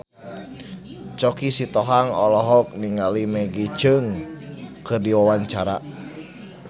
Choky Sitohang olohok ningali Maggie Cheung keur diwawancara